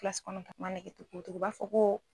u b'a fɔ ko